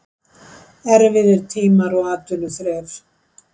Erfiðir tímar og atvinnuþref.